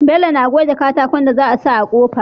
Bello na goge katakon da za a sa a kofa